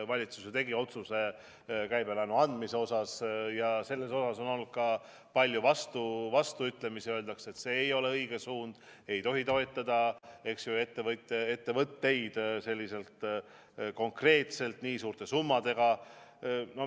Valitsus tegi otsuse käibelaenu andmise kohta ja sellele on olnud ka palju vastuväiteid: öeldakse, et see ei ole õige suund, ei tohi toetada ettevõtteid konkreetselt nii suurte summadega.